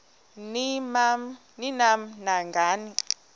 ni nam nangani